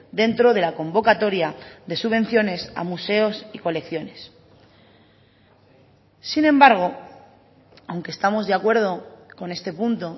dentro de la convocatoria de subvenciones a museos y colecciones sin embargo aunque estamos de acuerdo con este punto